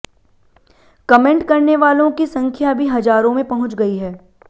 comment करने वालों की संख्या भी हजारों में पहुंच गई है